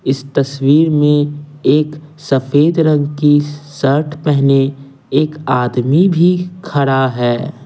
इस तस्वीर में एक सफेद रंग की स शर्ट पहने एक आदमी भी खरा है।